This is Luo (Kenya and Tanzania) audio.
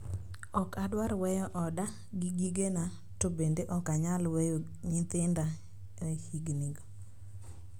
Ok adwar weyo oda gi gigena, to bende ok anyal weyo nyithinda e higinigo.